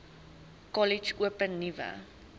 kollege open nuwe